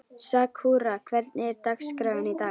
Sakura, hvernig er dagskráin í dag?